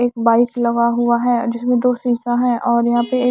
एक बाइक लगा हुआ हैं जिसमें दो शीशा है और यहां पे एक--